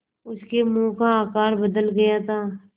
उसके मुँह का आकार बदल गया था